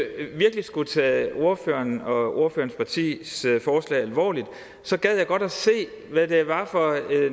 virkelig skulle tage ordføreren og ordførerens partis forslag alvorligt gad jeg godt se hvad det var for